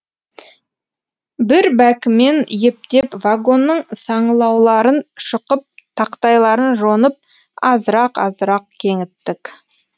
бір бәкімен ептеп вагонның саңылауларын шұқып тақтайларын жонып азырақ азырақ кеңіттік